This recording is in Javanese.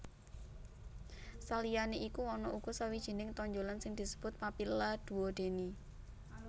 Saliyané iku ana uga sawijining tonjolan sing disebut papilla duodeni